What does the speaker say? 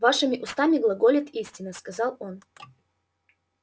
вашими устами глаголет истина сказал он